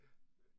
Ja